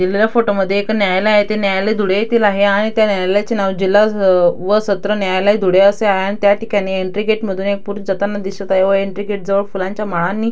दिलेल्या फोटो मध्ये एक न्यायालय आहे ते न्यायालय धुळे येथील आहे आणि त्या न्यायालयाचे नाव जिल्हा स् व सत्र न्यायालय धुळे असे आहे अन त्या ठिकाणी एन्ट्री गेट मधून एक पुरुष जाताना दिसत आहे व एन्ट्री गेट जवळ फुलांच्या माळांनी--